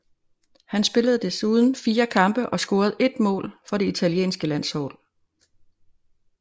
Han spillede desuden fire kampe og scorede ét mål for det italienske landshold